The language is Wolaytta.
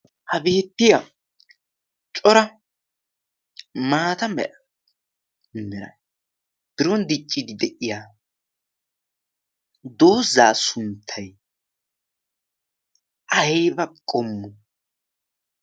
Ha beettiya cora maata mera mmera biron diccidi de'iya doozaa sunttay ayba qommo?